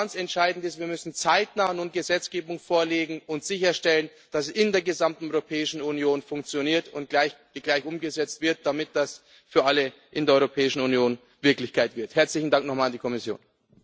Was ganz entscheidend ist Wir müssen nun zeitnah Gesetzgebung vorlegen und sicherstellen, dass sie in der gesamten Europäischen Union funktioniert und gleich umgesetzt wird, damit das für alle in der Europäischen Union Wirklichkeit wird. Herzlichen Dank nochmal an die Kommission.